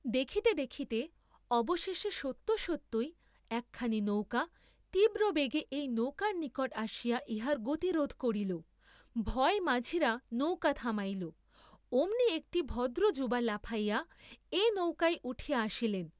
দেখিতে দেখিতে অবশেষে সত্য সত্যই একখানি নৌকা তীব্রবেগে এই নৌকার নিকট আসিয়া ইহার গতিরোধ করিল, ভয়ে মাঝিরা নৌকা থামাইল, অমনি একটি ভদ্র যুরা লাফাইয়া এ নৌকায় উঠিয়া আসিলেন।